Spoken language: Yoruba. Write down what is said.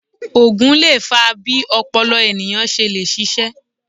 Ògùn lè fa bí ọpọlọ ènìyàn ṣe le ṣiṣé